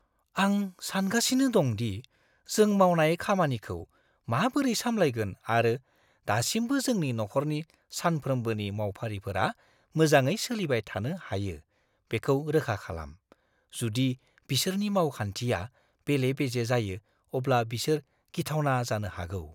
आं सानगासिनो दं दि जों मावनाय खामानिखौ माबोरै सामलायगोन आरो दासिमबो जोंनि नखरनि सानफ्रोमबोनि मावफारिफोरा मोजाङै सोलिबाय थानो हायो बेखौ रोखा खालाम। जुदि बिसोरनि मावखान्थिया बेले-बेजे जायो अब्ला बिसोर गिथावना जानो हागौ।